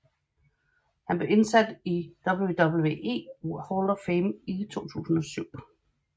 Han blev indsat i WWE Hall of Fame i 2007